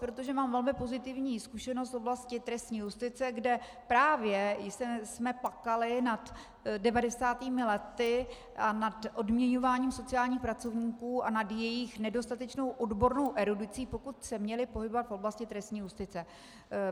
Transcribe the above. Protože mám velmi pozitivní zkušenost v oblasti trestní justice, kde právě jsme plakali nad 90. lety a nad odměňováním sociálních pracovníků a nad jejich nedostatečnou odbornou erudicí, pokud se měli pohybovat v oblasti trestní justice.